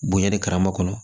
Bonɲɛ de karama kɔnɔ